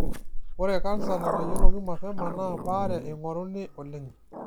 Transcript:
Ore kansa natayioloki mapema naa baare eingoruni oleng'.